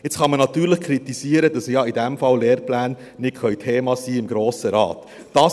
Jetzt kann man natürlich kritisieren, dass ja in diesem Fall Lehrpläne nicht Thema im Grossen Rat sein können.